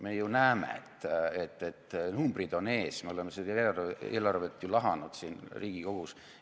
Me ju näeme, et numbrid on ees, me oleme seda eelarvet lahanud siin Riigikogus.